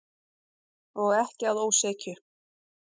Og ekki að ósekju.